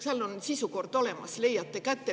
Seal on sisukord olemas, leiate selle kätte.